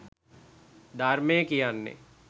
ධර්මය කියන්නේ